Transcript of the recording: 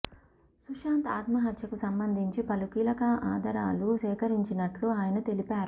సుశాంత్ ఆత్మహత్యకు సంబంధించి పలు కీలకా అధరాలు సేకరించినట్టు అయన తెలిపారు